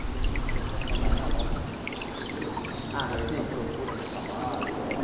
E você começou a trabalhar logo com... Ah sim Como foi essa procura de trabalho? Como